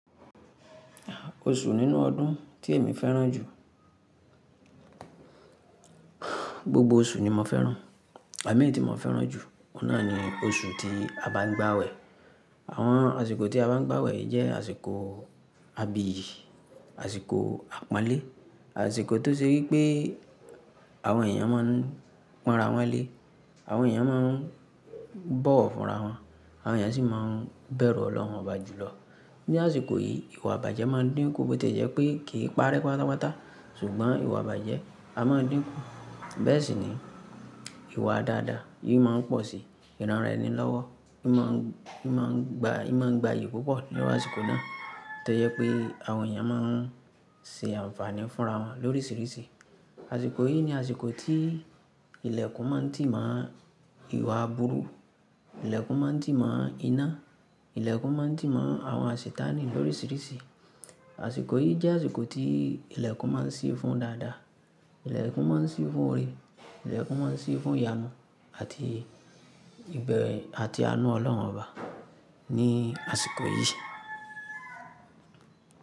Oṣù nínú ọdún tí èmi fẹ́ràn jù. Gbogbo oṣù ni mo fẹ́ràn. Àmì tí mo fẹ́ràn jù, ọ́nà ni oṣù tí a bá ń gbàwẹ̀. Àwọn àsìkò tí a bá ń gbàwẹ̀ jẹ́ àsìkò, àbí àsìkò àpọ́nlé. Àsìkò tó ṣe pé pé àwọn èèyàn máa ń pọ̀nra wọ́n lé. Àwọn èèyàn máa ń bọ̀wọ̀ fúnra wọn. Àwọn èèyàn sì máa ń bẹ̀rù ọlọ́run Ọba jùlọ. Ni àsìkò yìí, ìwà ìbàjẹ́ máa ń dínkù bóti jẹ́ pé kì í parẹ́ pátápátá. Ṣùgbọ́n ìwà ìbàjẹ́ a máa ń dínkù. Bẹ́ẹ̀ sì ni ìwà dáadáa, ì máa ń pọ̀ sí. Ìranraẹni lọ́wọ́, ì má ń, ì má ń gba, ì má ń gba iyì púpọ̀ lọ́wọ́ àsìkò náà. Tẹ́lẹ̀ pé àwọn èèyàn máa ń ṣe àǹfààní fúnra wọn lóríṣiríṣi. Àsìkò yìí ni àsìkò tí ilẹ̀kùn máa ń tì mọ́ ìwà aburú. Ilẹ̀kùn máa ń tì mọ́ iná. Ilẹ̀kùn máa ń tì mọ́ àwọn àṣìtàní lóríṣiríṣi. Àsìkò yìí jẹ́ àsìkò tí ilẹ̀kùn máa ń ṣí fún dáadáa. Ilẹ̀kùn máa ń ṣí fún orí. Ilẹ̀kùn máa ń ṣí fún ìyànú àti ìgbẹ́ àti àánú ọlọ́run Ọba ní àsìkò yìí.